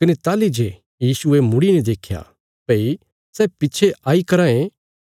कने ताहली जे यीशुये मुड़ीने देख्या भई सै पिच्छे आई कराँ ये